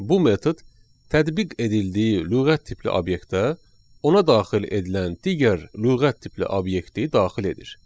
Bu metod tətbiq edildiyi lüğət tipli obyektə ona daxil edilən digər lüğət tipli obyekti daxil edir.